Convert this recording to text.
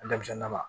Denmisɛnnin na